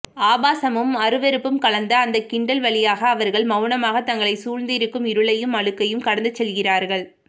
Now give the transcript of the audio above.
ஆபாசமும் அருவருப்பும் கலந்த அந்த கிண்டல் வழியாக அவர்கள் மௌனமாக தங்களைச்சூழ்ந்திருக்கும் இருளையும் அழுக்கையும் கடந்துசெல்கிறார்கள்